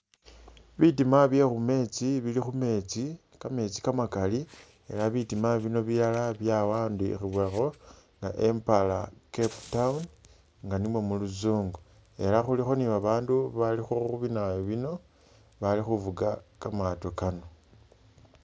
Bitima byekhumeetsi bili khumeetsi kameetsi kamakali ela butima bino bilala byawandikhiwakho "empara cape town" nga nimwo muluzungu, ela khulikho ni babaandu balikho binayu bino bali khuvuga kamaato kano.